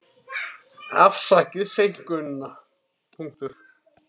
Afsakið seinkunina.